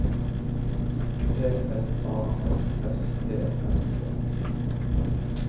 P L A S S E R T